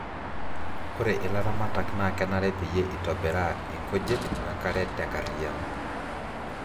ore ilaramatak naa kenare peyie itobiraa inkujit wenkare te nkariyano